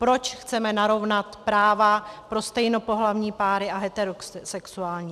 Proč chceme narovnat práva pro stejnopohlavní páry a heterosexuální.